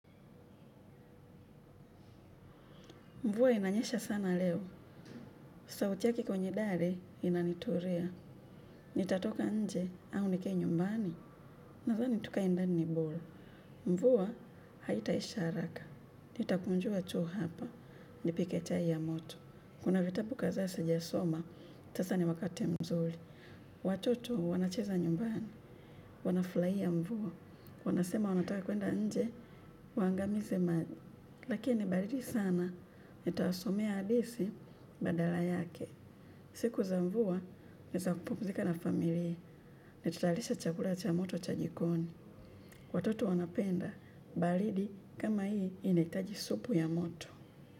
Mvua inanyesha sana leo. Sauti yake kwenye dari inanitulia. Nitatoka nje au nikae nyumbani. Nadhani tukae ndani ni bora. Mvua haitaisha haraka. Nitakunjua tu hapa. Nipike chai ya moto. Kuna vitabu kadhaa sijasoma. Sasa ni wakati mzuri. Watoto wanacheza nyumbani. Wanafurahia mvua. Wanasema wanataka kwenda nje. Waangamize maji. Lakini ni baridi sana. Nitawasomea hadithi badala yake, siku za mvua ni za kupumzika na familia, nitatayarisha chakula cha moto cha jikoni. Watoto wanapenda, baridi kama hii inahitaji supu ya moto.